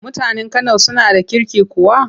Mutanen Kano suna da kirki kuwa?